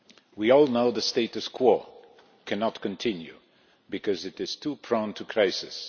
We all know the status quo cannot continue because it is too prone to crisis.